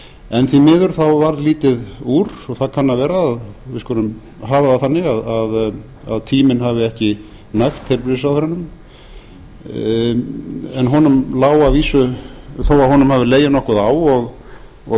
en því miður varð lítið úr það kann að vera við skulum hafa það þannig að tíminn hafi ekki nægt heilbrigðisráðherranum þó að honum hafi legið nokkuð á og